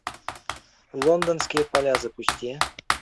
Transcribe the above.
лондонские поля запусти